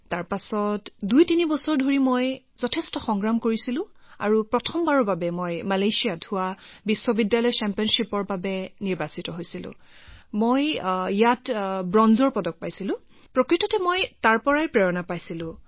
তাৰ পিছত ২৩ বছৰ ধৰি বহুত সংগ্ৰাম কৰিলোঁ আৰু প্ৰথমবাৰৰ বাবে মালয়েছিয়াত ইউনিভাৰ্চিটি8 চেম্পিয়নশ্বিপৰ বাবে নিৰ্বাচিত হলোঁ আৰু তাত ব্ৰঞ্জৰ পদক পালোঁ আচলতে তাৰ পৰাই উদ্গনি পালোঁ